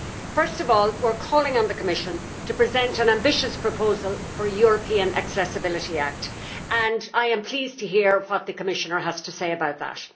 First of all, we are calling on the Commission to present an ambitious proposal for a European accessibility act, and I am pleased to hear what the Commissioner has to say about that.